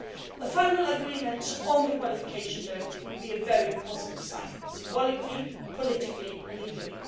A final agreement on the qualification directive would be a very positive sign symbolically, politically and legally.